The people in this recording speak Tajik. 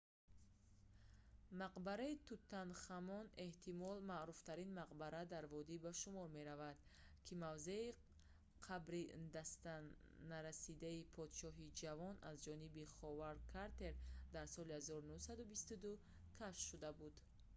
мақбараи тутанхамон kv62. kv62 эҳтимол маъруфтарин мақбара дар водӣ ба шумор меравад ки мавзеи қабри дастнарасидаи подшоҳи ҷавон аз ҷониби ховард картер дар соли 1922 кашф шуда буд